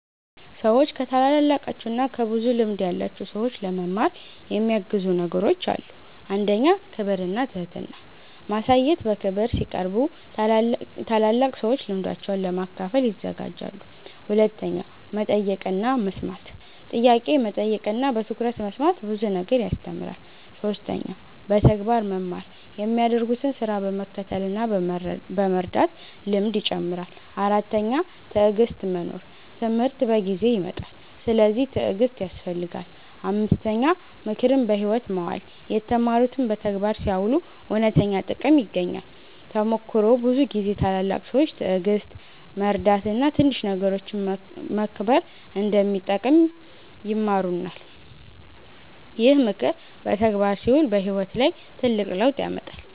ሰዎች ከታላላቃቸው እና ከብዙ ልምድ ያላቸው ሰዎች ለመማር የሚያግዙ ነገሮች አሉ። 1. ክብር እና ትህትና ማሳየት በክብር ሲቀርቡ ታላላቅ ሰዎች ልምዳቸውን ለመካፈል ይዘጋጃሉ። 2. መጠየቅ እና መስማት ጥያቄ መጠየቅ እና በትኩረት መስማት ብዙ ነገር ያስተምራል። 3. በተግባር መማር የሚያደርጉትን ስራ በመከተል እና በመርዳት ልምድ ይጨምራል። 4. ትዕግሥት መኖር ትምህርት በጊዜ ይመጣል፤ ስለዚህ ትዕግሥት ያስፈልጋል። 5. ምክርን በሕይወት ማዋል የተማሩትን በተግባር ሲያውሉ እውነተኛ ጥቅም ይገኛል። ተሞክሮ ብዙ ጊዜ ታላላቅ ሰዎች ትዕግሥት፣ መርዳት እና ትንሽ ነገሮችን መከብር እንደሚጠቅም ይማሩናል። ይህ ምክር በተግባር ሲውል በሕይወት ላይ ትልቅ ለውጥ ያመጣል።